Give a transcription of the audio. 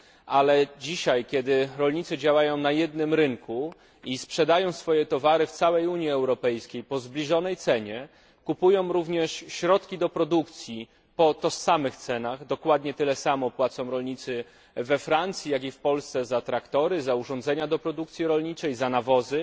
Ale dzisiaj, kiedy rolnicy działają na jednym rynku i sprzedają swoje towary w całej Unii Europejskiej po zbliżonej cenie, kupują również środki do produkcji po tych samych cenach, kiedy dokładnie tyle samo płacą rolnicy we Francji, jak i w Polsce za traktory, za urządzenia do produkcji rolniczej, za nawozy,